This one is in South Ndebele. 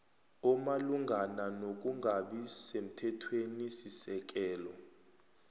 omalungana nokungabi semthethwenisisekelo